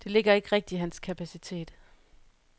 Det ligger ikke rigtigt i hans kapacitet.